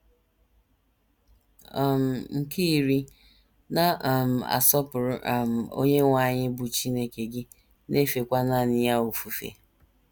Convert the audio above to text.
um Nke iri: “ Na - um asọpụrụ um Onyenwe anyị bụ́ Chineke gị, na - efekwa nanị ya ofufe. ”